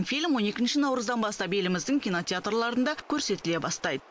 фильм он екінші наурыздан бастап еліміздің кинотеатрларында көрсетіле бастайды